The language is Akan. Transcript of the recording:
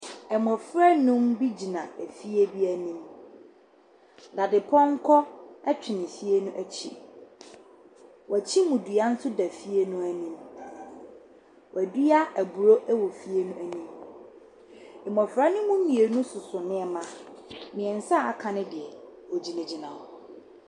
Mmɔfra nnum bi gyina efie bi anim. Dadepɔnkɔ twere fie no akyi. Wɔakyim dua nso da dua no anim. Wɔadua aburo wɔ fie no anim. Mmɔfra no mu mmienu soso nneɛma. Mmeɛnsa a wɔaka no deɛ, wɔgyinagyina hɔ.